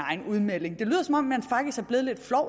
egen udmelding